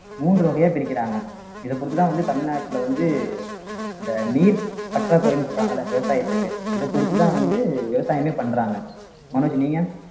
மூன்று வகையா பிரிக்கிறாங்க இத பொறுத்துதான் வந்து தமிழ்நாட்டுல வந்து இந்த நீர் பற்றாக்குறைன்னு சொல்றாங்கல்ல விவசாயத்துக்கு இத பொறுத்துதான் வந்து விவசாயமே பண்றாங்க மனோஜ் நீங்க